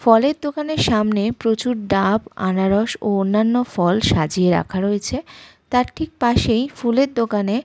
ফলের দোকানের সামনে প্রচুর ডাব আনারস ও অন্যান্য ফল সাজিয়ে রাখা রয়েছে। তার ঠিক পাশেই ফুলের দোকানে--